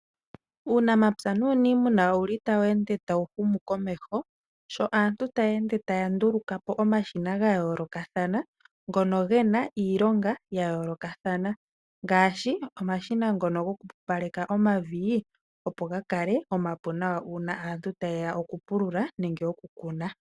Uunamapya nuuniimuna owuli tawu ende tawu humu komeho, sho aantu taya ende taya nduluka po omashina gayoolokathana ngono gena iilonga yayoolokathana ngaashi, omashina ngono gokupupaleka omavi opo gakale omapu nawa uuna aantu tayeya okupulula nenge okukuna.